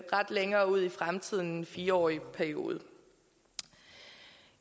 meget længere ud i fremtiden fire årig periode